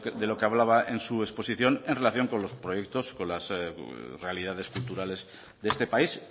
de lo que hablaba en su exposición en relación con los proyectos con las realidades culturales de este país